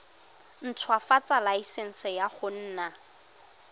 ntshwafatsa laesense ya go nna